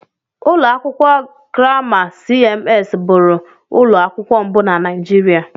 Ụlọ akwụkwọ Grama CMS bụụrụ ụlọ akwụkwọ mbụ na Naijiria.